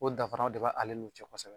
O dafaraw de bɛ ale n'u cɛ kosɛbɛ